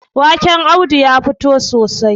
waken Audu ya fito sosai